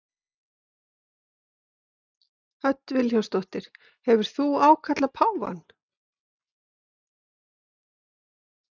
Hödd Vilhjálmsdóttir: Hefur þú ákallað páfann?